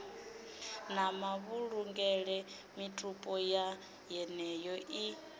na mavhulungele mitupo yeneyo i